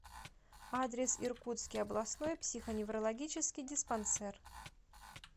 адрес иркутский областной психоневрологический диспансер